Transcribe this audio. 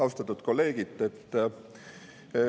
Austatud kolleegid!